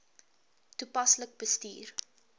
toepaslik bestuur